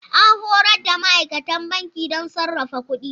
An horar da ma'aikatan banki don sarrafa kuɗi.